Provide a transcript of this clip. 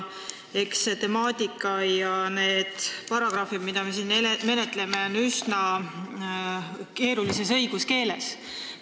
Eks see temaatika ja need paragrahvid, mida me siin menetleme, ole kirja pandud üsna keerulises õiguskeeles.